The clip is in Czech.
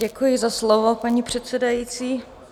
Děkuji za slovo, paní předsedající.